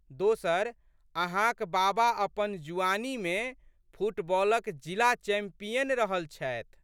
दोसर, अहाँक बाबा अपन जुआनीमे फुटबॉलक जिला चैंपियन रहल छथि।